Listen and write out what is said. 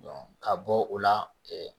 ka bɔ o la